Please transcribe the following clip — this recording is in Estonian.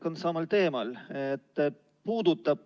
Jätkan samal teemal.